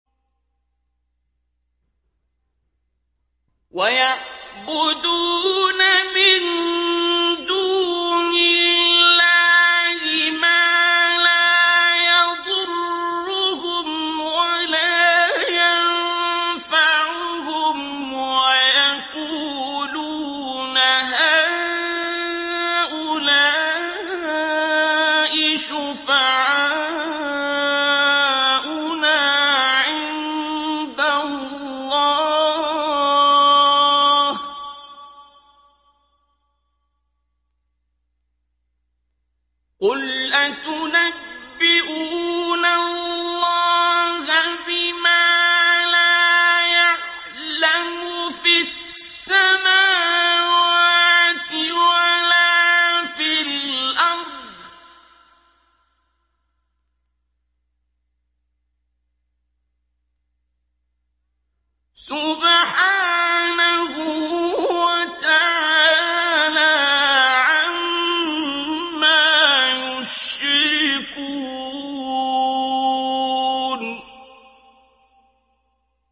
وَيَعْبُدُونَ مِن دُونِ اللَّهِ مَا لَا يَضُرُّهُمْ وَلَا يَنفَعُهُمْ وَيَقُولُونَ هَٰؤُلَاءِ شُفَعَاؤُنَا عِندَ اللَّهِ ۚ قُلْ أَتُنَبِّئُونَ اللَّهَ بِمَا لَا يَعْلَمُ فِي السَّمَاوَاتِ وَلَا فِي الْأَرْضِ ۚ سُبْحَانَهُ وَتَعَالَىٰ عَمَّا يُشْرِكُونَ